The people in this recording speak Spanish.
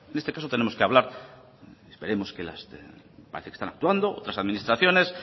en este caso tenemos que hablar parece que están actuando otras administraciones